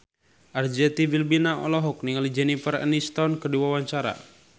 Arzetti Bilbina olohok ningali Jennifer Aniston keur diwawancara